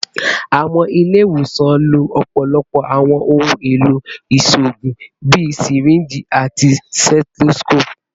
Awọn ile-iwosan lo ọpọlọpọ awọn ohun elo iṣoogun bii syringes ati stethoscopes